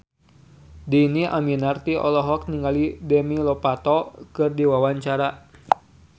Dhini Aminarti olohok ningali Demi Lovato keur diwawancara